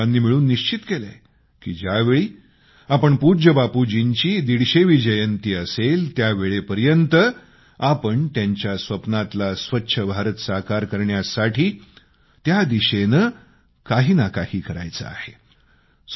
आपण सर्वांनी मिळून निश्चित केलंय की ज्यावेळी पूज्य बापू यांची 150वी जयंती असेल त्यावेळेपर्यंत आपण त्यांच्या स्वप्नातला स्वच्छ भारत साकार करण्यासाठी त्या दिशेने काही ना काही करायचं आहे